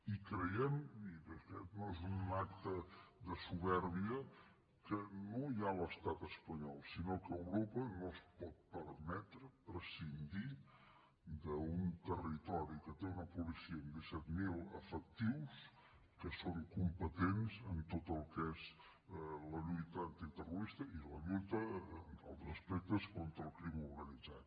i creiem i de fet no és un acte de supèrbia que no ja l’estat espanyol sinó que europa no es pot permetre prescindir d’un territori que té una policia amb disset mil efectius que són competents en tot el que és la lluita antiterrorista i la lluita en altres aspectes contra el crim organitzat